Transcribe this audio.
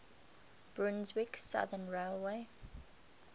brunswick southern railway